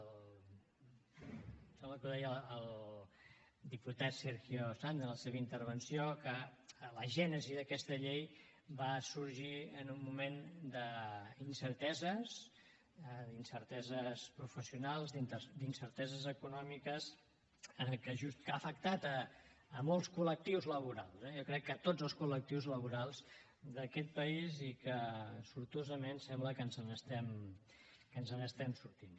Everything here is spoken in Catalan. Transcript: em sembla que ho deia el diputat sergio sanz en la seva intervenció que la gènesi d’aquesta llei va sorgir en un moment d’incerteses d’incerteses professionals d’incerteses econòmiques que ha afectat molts col·lectius laborals eh jo crec que tots els col·lectius laborals d’aquest país i que sortosament sembla que ens n’estem sortint